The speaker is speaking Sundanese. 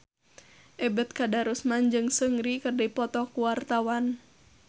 Ebet Kadarusman jeung Seungri keur dipoto ku wartawan